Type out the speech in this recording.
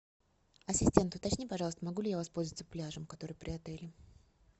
ассистент уточни пожалуйста могу ли я воспользоваться пляжем который при отеле